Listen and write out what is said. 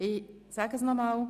Ich stelle Unruhe fest.